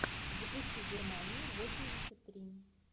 запусти германию восемьдесят три